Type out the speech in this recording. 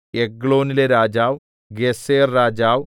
എഗ്ലോനിലെ രാജാവ് ഗേസെർരാജാവ്